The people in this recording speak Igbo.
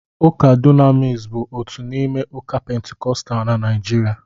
Ụka Dunamis bụ otu n'ime ụka Pentikọstal na Nigeria